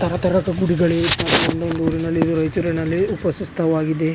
ತರ ತರದ ಗುಡಿಗಳೆ ಮತ್ತೊಂದು ಊರಿನಲ್ಲಿ ರಾಯಚೂರಿನಲ್ಲಿ ಉಪಸಿಸ್ತವಾಗಿದೆ.